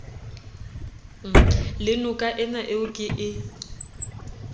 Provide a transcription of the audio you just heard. le nokaena eo ke e